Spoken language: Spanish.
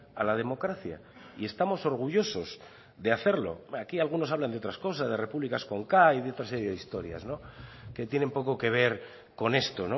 a la democracia y estamos orgullosos de hacerlo aquí algunos hablan de otras cosas de repúblicas con k y de otra serie de historias que tienen poco que ver con esto